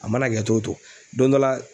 A mana kɛ cogo o cogo don dɔ la